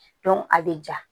a bɛ ja